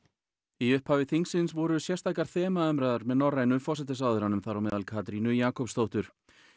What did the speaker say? í upphafi þingsins voru sérstakar með norrænu forsætisráðherrunum þar á meðal Katrínu Jakobsdóttur